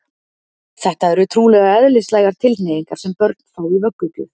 Þetta eru trúlega eðlislægar tilhneigingar sem börn fá í vöggugjöf.